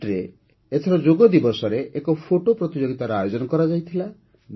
ଇଜିପ୍ଟରେ ଏଥର ଯୋଗ ଦିବସରେ ଏକ ଫଟୋ ପ୍ରତିଯୋଗିତାର ଆୟୋଜନ କରାଯାଇଥିଲା